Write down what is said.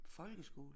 Folkeskole?